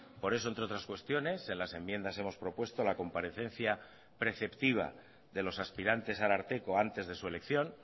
por eso entre otras cuestiones en las enmiendas hemos propuesto la comparecencia preceptiva de los aspirantes a ararteko antes de su elección